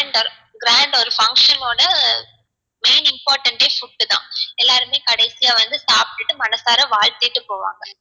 grand ஆ ஒரு function ஓட main important ஏ food தான் எல்லாருமே கடைசியா வந்து சாப்ட்டுட்டு மனசார வாழ்த்திட்டு போவாங்க